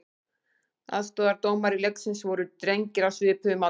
Aðstoðardómarar leiksins voru drengir á svipuðum aldri.